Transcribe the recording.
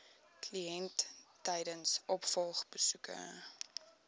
kliënt tydens opvolgbesoeke